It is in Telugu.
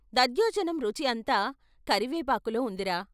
దధ్యోజనం రుచి అంతా కరివేపాకులో ఉందిరా!